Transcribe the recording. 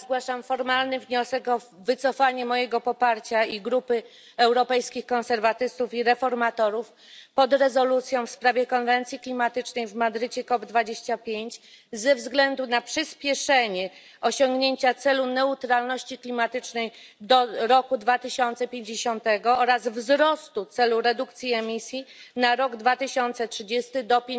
Zgłaszam formalny wniosek o wycofanie mojego poparcia i grupy Europejskich Konserwatystów i Reformatorów dla rezolucji w sprawie konferencji klimatycznej w Madrycie ze względu na przyspieszenie osiągnięcia celu neutralności klimatycznej do roku 2050 oraz wzrostu celu redukcji emisji na rok 2030 do